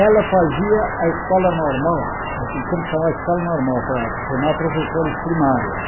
Ela fazia a escola normal, naquele tempo chamava escola normal, para formar professoras primárias.